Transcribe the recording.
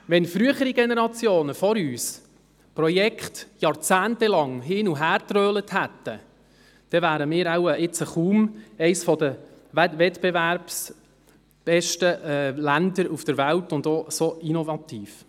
Wenn frühere Generationen Projekte jahrzehntelang hin- und hergeschoben hätten, dann wären wir heute kaum eines der wettbewerbsstärksten Länder der Welt und auch nicht so innovativ.